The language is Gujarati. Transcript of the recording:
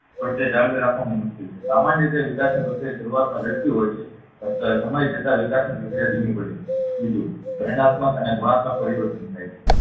પણ તે જાળવી રાખવાનું મુશ્કેલ છે સામાન્ય રીતે વિકાસની પ્રક્રિયા શરૂઆતમાં ઝડપી હોય છે સમય જતા વિકાસની પ્રક્રિયા ધીમી પડે બીજું પરિણાત્મક અને ગુણાત્મક પરિવર્તન થાય છે